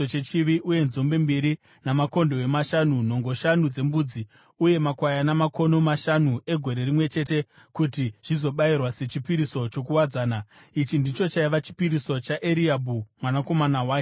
uye nzombe mbiri, makondobwe mashanu, nhongo shanu dzembudzi uye makwayana makono mashanu egore rimwe chete, kuti zvizobayirwa sechipiriso chokuwadzana. Ichi ndicho chaiva chipiriso chaEriabhi mwanakomana waHeroni.